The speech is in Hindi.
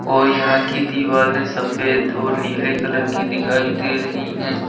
और यहां की दीवालें सफेद और नीले कलर की दिखाई दे रही हैं।